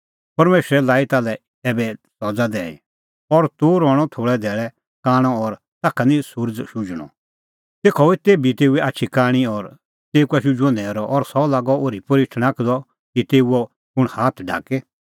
परमेशरै लाई ताल्है ऐबै सज़ा दैई और तूह रहणअ थोल़ै धैल़ै कांणअ और ताखा निं सुरज़ शुझणअ तेखअ हुई तेभी तेऊए आछी कांणी और तेऊ का शुझुअ न्हैरअ और सह लागअ ओर्हीपोर्ही ठणाखदअ कि तेऊओ कुंण हाथ ढाके